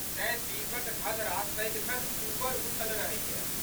तेँ, दीप'क धधरा सदिखन ऊपर उठल रहैए।